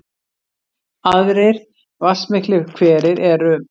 Aðrir vatnsmiklir hverir eru